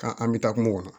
Ka an bɛ taa kungo kɔnɔ